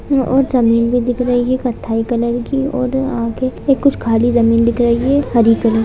और जमीन भी दिख रही है कत्थई कलर की और आगे कुछ खाली जमीन दिख रही है हरी कलर --